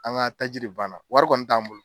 An ga taji de banna wari kɔni t'an bolo